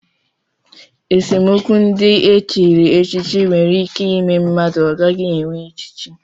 Esemokwu ndị e chiri echichi nwere ime mmadụ ọ gaghị enwe echichi